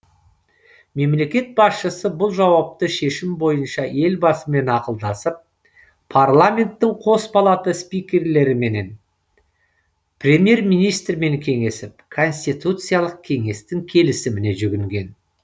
мемлекет басшысы бұл жауапты шешім бойынша елбасымен ақылдасып парламенттің қос палата спикерлерімен премьер министрмен кеңесіп конституциялық кеңестің келісіміне жүгінген